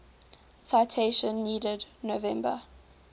citation needed november